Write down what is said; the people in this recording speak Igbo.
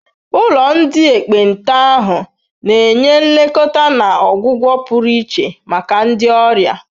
Ụlọ ndị ekpenta ahụ na-enye nlekọta na ọgwụgwọ pụrụ iche maka ndị ọrịa.